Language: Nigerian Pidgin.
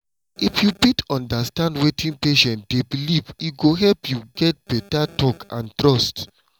if you fit understand wetin patient dey believe e go help you get beta talk and trust.